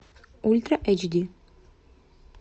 ультра эйч ди